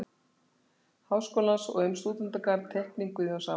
Háskólans og um stúdentagarð-Teikning Guðjóns Samúelssonar